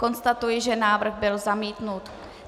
Konstatuji, že návrh byl zamítnut.